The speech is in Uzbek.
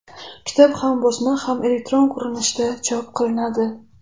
Kitob ham bosma, ham elektron ko‘rinishda chop qilinadi.